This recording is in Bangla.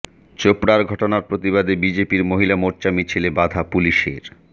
চোপড়ার ঘটনার প্রতিবাদে বিজেপির মহিলা মোর্চার মিছিলে বাধা পুলিশের